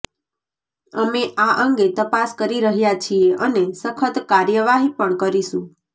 અમે આ અંગે તપાસ કરી રહ્યા છીએ અને સખત કાર્યવાહી પણ કરીશું